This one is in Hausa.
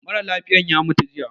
Mara lafiyan ya mutu jiya